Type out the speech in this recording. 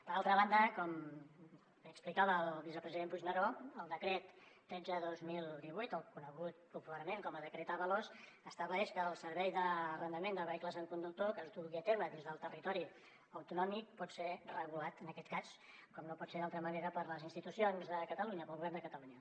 per altra banda com bé explicava el vicepresident puigneró el decret tretze dos mil divuit conegut popularment com a decret ábalos estableix que el servei d’arrendament de vehicles amb conductor que es dugui a terme dins del territori autonòmic pot ser regulat en aquest cas com no pot ser d’altra manera per les institucions de catalunya pel govern de catalunya